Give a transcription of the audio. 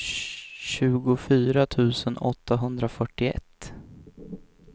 tjugofyra tusen åttahundrafyrtioett